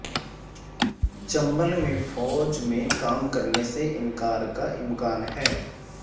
چنبل میں فوج میں کام کرنے سے انکار کا امکان ہے